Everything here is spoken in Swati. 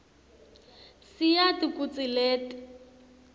siyati kutsi leti